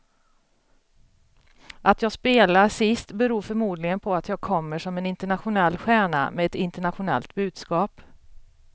Att jag spelar sist beror förmodligen på att jag kommer som en internationell stjärna med ett internationellt budskap.